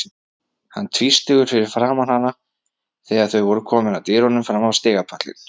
Hann tvístígur fyrir framan hana þegar þau eru komin að dyrunum fram á stigapallinn.